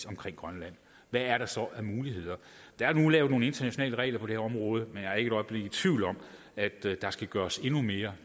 omkring grønland hvad er der så af muligheder der er der nu lavet nogle internationale regler om på det område men jeg er ikke et øjeblik i tvivl om at der skal gøres endnu mere